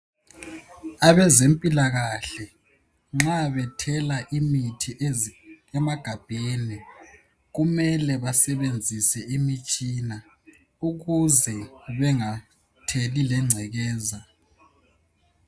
Abezempilakahle nxa bethela imithi ezi emagabheni kumele basebenzisa imitshina ukuze bengatheli lengcekeza.